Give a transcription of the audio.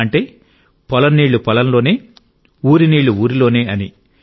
అంటే పొలం నీళ్ళు పొలం లోనే ఊరి నీళ్ళు ఊరిలోనే అని